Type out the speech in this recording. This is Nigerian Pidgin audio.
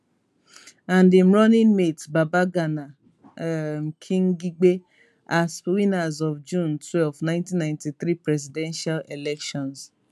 and im running mate babagana um kingibe as winners of june twelve 1993 presidential elections